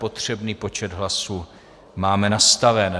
Potřebný počet hlasů máme nastaven.